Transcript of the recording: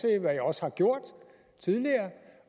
jeg også har gjort tidligere